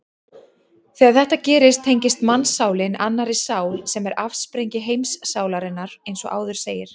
Þegar þetta gerist tengist mannssálin annarri sál sem er afsprengi heimssálarinnar eins og áður segir.